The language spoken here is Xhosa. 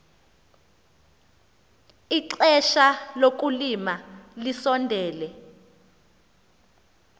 ixesha lokulima lisondele